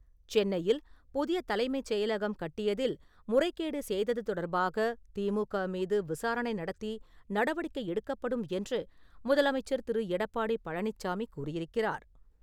சென்னையில் புதிய தலைமைச் செயலகம் கட்டியதில் முறைகேடு செய்தது தொடர்பாக திமுக மீது விசாரணை நடத்தி நடவடிக்கை எடுக்கப்படும் என்று முதலமைச்சர் திரு. எடப்பாடி பழனிச்சாமி கூறியிருக்கிறார்.